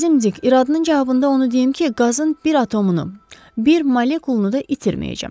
Əzizim Dik, iradının cavabında onu deyim ki, qazın bir atomunu, bir molekulunu da itirməyəcəm.